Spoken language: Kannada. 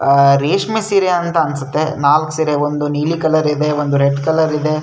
ಅಹ್ ರೇಷ್ಮೆ ಸೀರೆ ಅಂತ ಅನ್ಸುತ್ತೆ ನಾಲ್ಕ್ ಸೀರೆ ಒಂದು ನೀಲಿ ಕಲರ್ ಇದೆ ಒಂದು ರೆಡ್ ಕಲರ್ ಇದೆ.